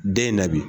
Den in na bi